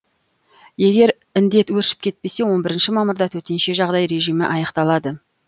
егер індет өршіп кетпесе он бірінші мамырда төтенше жағдай режімі аяқталады